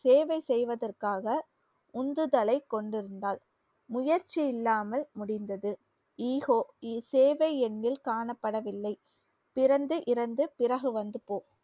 சேவை செய்வதற்காக உந்துதலை கொண்டிருந்தார் முயற்சி இல்லாமல் முடிந்தது சேவை எண்ணில் காணப்படவில்லை. பிறந்து இறந்து பிறகு வந்து போ